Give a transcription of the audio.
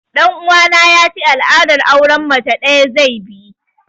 Ɗan uwana ya ce al'adar auren mace ɗaya zai bi